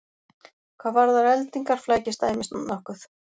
Hvað varðar eldingar flækist dæmið nokkuð.